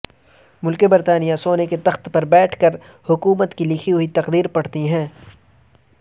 ملکہ برطانیہ سونے کے تخت پر بیٹھ کر حکومت کی لکھی ہوئی تقریر پڑھتی ہیں